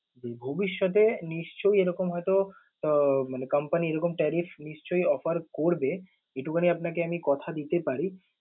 ভবিষ্যতে নিশ্চয়ই এরকম হয়তো আহ মানে company এরকম tariff নিশ্চয়ই offer করবে, এইটুকুনি আমি আপনাকে কথা দিতে পারি।